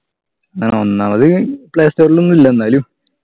അഹ് ഒന്നാമത് play store ൽ ഒന്നുല്ല എന്നാലു